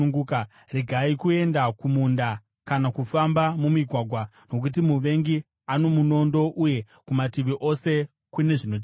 Regai kuenda kumunda, kana kufamba mumigwagwa, nokuti muvengi ane munondo, uye kumativi ose kune zvinotyisa.